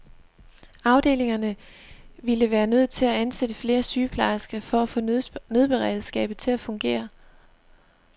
Afdelingerne ville være nødt til at ansætte flere sygeplejersker for at få nødberedskabet til at fungere.